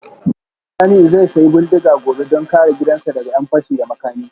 Ni Jamiu zai sayi bindiga gobe don kare gidansa daga ’yan fashi da makami